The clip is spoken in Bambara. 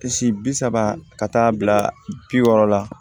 Si bi saba ka taa bila bi wɔɔrɔ la